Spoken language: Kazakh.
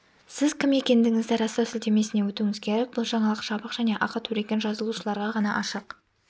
сіз кім екендігіңізді растау сілтемесіне өтуіңіз керек бұл жаңалық жабық және ақы төлеген жазылушыларға ғана ашық